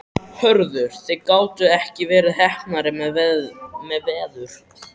Hörður, þið gátuð ekki verið heppnari með veður?